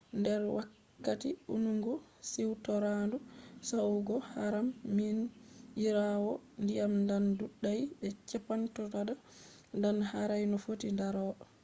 nder wakkati ɗungu siwtoraandu yahugo haram minyiraawo diyam ɗan ɗudai be chippotodan ɗan harai no fotti ndaro